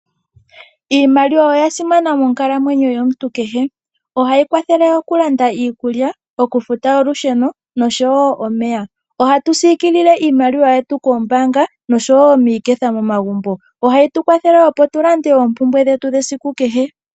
Iimaliwa oya simana monkalamwenyo yomuntu kehe. Ohayi kwathele oku landa iikulya, oku futa olusheno osho wo omeya. Iimaliwa ohatu yi siikilile koombaanga osho wo miiketha momagumbo. Ohayi tu kwathele moku landa oompumnbwe dhetu dhesiku kehe.